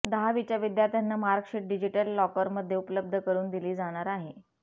दहावीच्या विद्यार्थ्यांना marksheet digital लॉकरमध्ये उपलब्ध करून दिली जाणार आहे